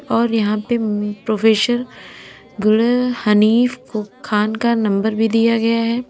और यहां पे प्रोफेसर हनीफ को खान का नंबर भी दिया गया है।